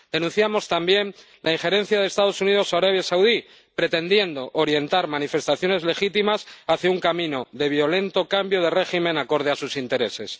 Denunciamos también la injerencia de los Estados Unidos o Arabia Saudí, pretendiendo orientar manifestaciones legítimas hacia un camino de violento cambio de régimen acorde a sus intereses.